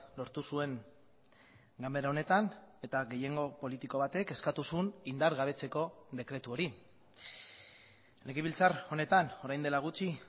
lortu zuen ganbara honetan eta gehiengo politiko batek eskatu zuen indargabetzeko dekretu hori legebiltzar honetan orain dela gutxi